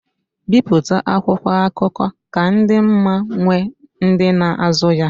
Bipụta akwụkwọ akụkọ ka dị ma nwee ndị na-azụ ya.